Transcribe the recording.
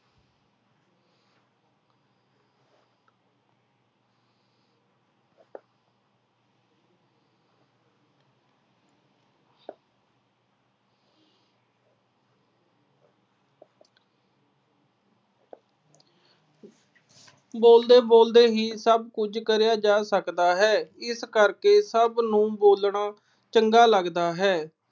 ਬੋਲਦੇ-ਬੋਲਦੇ ਹੀ ਸਭ ਕੁਝ ਕਰਿਆ ਜਾ ਸਕਦਾ ਹੈ। ਇਸ ਕਰਕੇ ਸਭ ਨੂੰ ਬੋਲਣਾ ਚੰਗਾ ਲਗਦਾ ਹੈ।